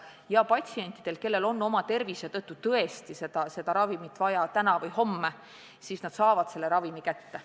Ja patsiendid, kellel on oma tervisehäda tõttu tõesti mingit ravimit vaja täna või homme, saavad selle ravimi kätte.